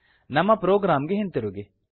ನಮ್ಮ ಪ್ರೊಗ್ರಾಮ್ ಗೆ ಹಿಂತಿರುಗಿ